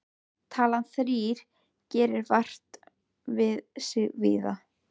Talan þrír gerir vart við sig víða.